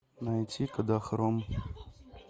найти кодахром